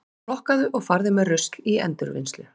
Flokkaðu og farðu með rusl í endurvinnslu.